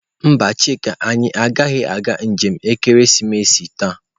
Mba, chika anyi agaghi aga njem ekeresimesi taa.